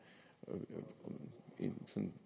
jan